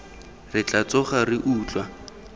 re tla tsoga re utlwa